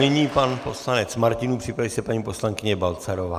Nyní pan poslanec Martinů, připraví se paní poslankyně Balcarová.